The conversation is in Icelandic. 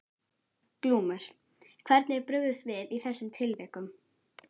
Glúmur: Hvernig er brugðist við í þessum tilvikum?